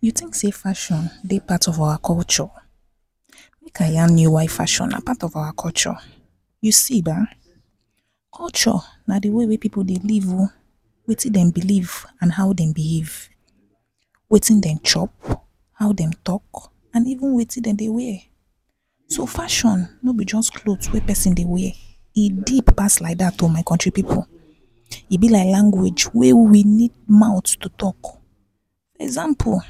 You tink sey fashion dey part of our culture? Make I yan you why culture dey part of our culture. You see ba, culture na the pipu dey live o, wetin den belief and how den belief. Wetin dem chop, how dem talk and even wetin dem dey wear. So fashion no be just clot wey pesin dey wear, e deep pass like dat my kontri pipu, e be like language wey we need mouth to talk. Example,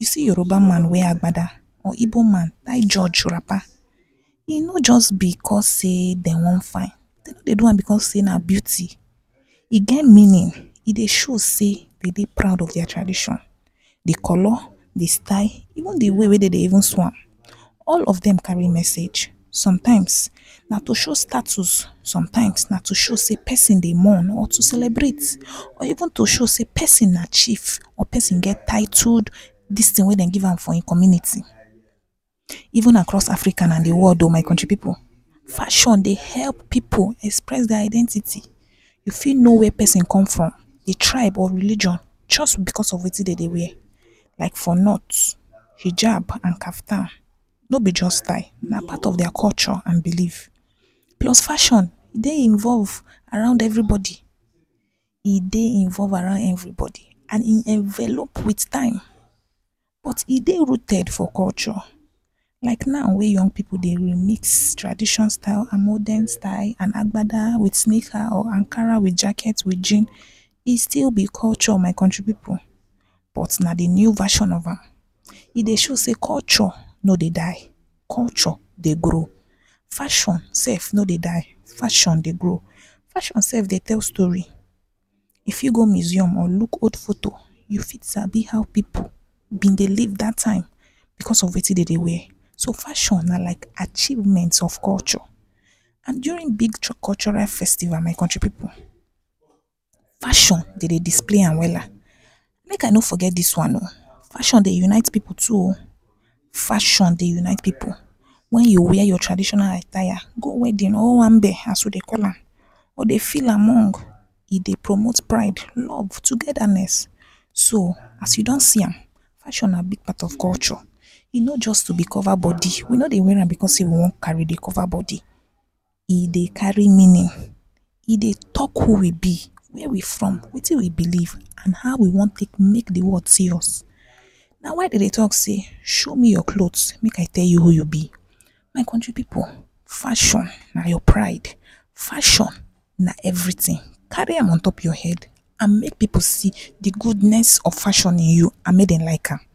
you see Yoruba man wear agbada or igbo man tie joj rapa, e no just because dey de wan fine, dey do am because sey na beauty, e get meanin. E dey show sey de dey proud of dia tradition. The color, the style, e get the way wey den dey take sew am, all of dem kari message. Sometimes, na show status, sometimes, na to show sey pesin dey mourn, celebrate or even to show sey pesin na chief or pesin get tite distin wey den give am for im community. Even na cross Africa na the world o my pipu. Fashion dey help pipu dey express dia identity, e fit no where pesin come from, e try, but religion just because of wetin den dey wear. Like for north, hijab and kaftan no be just tie na part of dia culture and belief, plus fashion e dey involve around every bodi, e dey involve around every bodi and e dey envelop with time. But e dey rooted for culture like na wey your own pipu dey mix tradition style and modern style and agbada with snicker, Ankara with jacket with jean, e still be culture. My kontri pipu na the new fashion, e dey show sey, culture no dey die, culture dey grow, fashion sef no dey die, fashion dey grow. Fashion sef dey tell story, you fit go mesium and luk old foto, you fit sabi how pipu been dey live dat time because of wetin dem dey wear. To, fashion na like achievement of culture. And during big cultural festival my kontri pipu, fashion den dey display am wela. Make I no forget dis one o, fashion dey unite pipu too o, fashion dey unite pipu wen you wear your traditional attire, go owambe as we dey call am, you go dey feel among, e dey promote pride, love, togetherness. So as you don see am, fashion na big part of culture, e no just to be cova bodi, we no wear am because sey, we wan cova bodi, e dey kari ehn…., e dey talk who we be, who we from, wetin we belief and how we wan take made the world serious. Na why de dey talk sey, show me your clot make I tell you who you be, my kontri pipu, fashion na your pride, fashion na everytin, kari am on top your head. And make pipu see the goodness of fashion in you and mey dem like am.